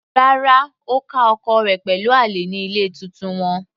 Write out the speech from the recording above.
Rárá, Ó ká ọkọ rẹ̀ pẹ̀lú àlè ní ilé titun wọn.